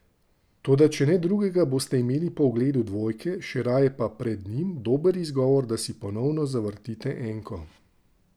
Toda če ne drugega, boste imeli po ogledu dvojke, še raje pa pred njim, dober izgovor, da si ponovno zavrtite enko.